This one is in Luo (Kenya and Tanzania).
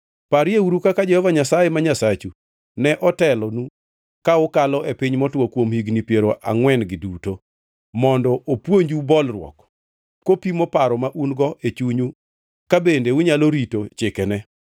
Parieuru kaka Jehova Nyasaye ma Nyasachu ne otelonu ka ukalo e piny motwo kuom higni piero angʼwen-gi duto, mondo opuonju bolruok, kopimo paro ma un-godo e chunyu ka bende unyalo rito chikene.